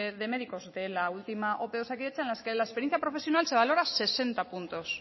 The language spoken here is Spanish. de médicos de la última ope de osakidetza en las que la experiencia profesional se valora sesenta puntos